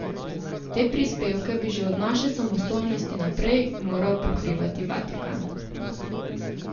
Te prispevke bi že od naše samostojnosti naprej moral pokrivati Vatikan.